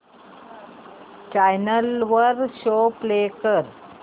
channel वर show play कर